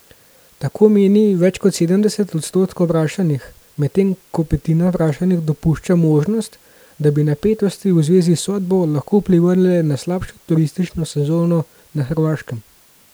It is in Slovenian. Tako meni več kot sedemdeset odstotkov vprašanih, medtem ko petina vprašanih dopušča možnost, da bi napetosti v zvezi s sodbo lahko vplivale na slabšo turistično sezono na Hrvaškem.